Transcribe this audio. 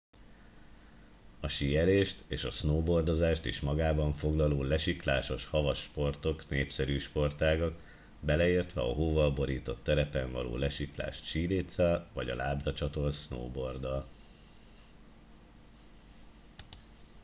a síelést és a snowboardozást is magában foglaló lesiklásos havas sportok népszerű sportágak beleértve a hóval borított terepen való lesiklást síléccel vagy a lábra csatolt snowboarddal